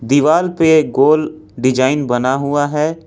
दिवाल पे गोल डिजाइन बना हुआ हैं।